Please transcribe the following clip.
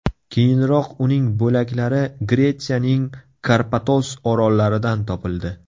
Keyinroq uning bo‘laklari Gretsiyaning Karpatos orollaridan topildi.